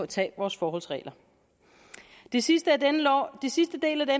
tage vores forholdsregler den sidste sidste del af